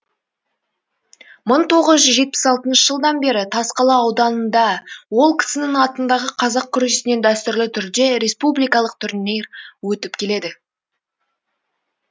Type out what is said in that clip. мың тоғыз жүз жетпіс алтыншы жылдан бері тасқала ауданында ол кісінің атындағы қазақ күресінен дәстүрлі түрде республикалық турнир өтіп келеді